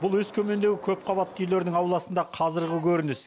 бұл өскемендегі көпқабатты үйлердің ауласында қазіргі көрініс